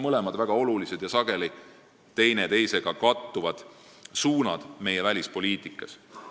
Mõlemad on väga olulised ja sageli teineteisega kattuvad suunad meie välispoliitikas.